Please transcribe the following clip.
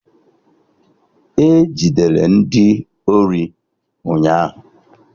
E Jidere ndị ori ụnyaahụ